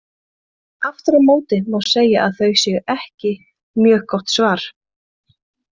Aftur á móti má segja að þau séu ekki mjög gott svar.